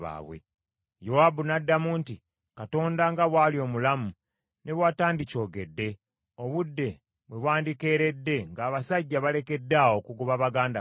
Yowaabu n’addamu nti, “Katonda nga bw’ali omulamu, ne bwe watandikyogedde, obudde bwe bwandikeeredde ng’abasajja balekeddaawo okugoba baganda baabwe.”